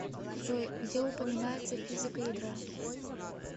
джой где упоминается физика ядра